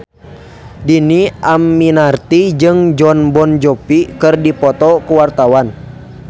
Dhini Aminarti jeung Jon Bon Jovi keur dipoto ku wartawan